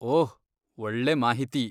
ಓಹ್, ಒಳ್ಳೆ ಮಾಹಿತಿ!